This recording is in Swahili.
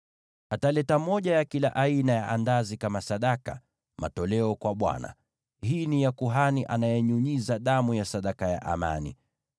Ataleta moja ya kila aina ya andazi kama sadaka, matoleo kwa Bwana ; hii ni ya kuhani anayenyunyiza damu ya sadaka ya amani.